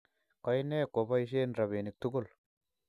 Koine kweboishen robinik tugul?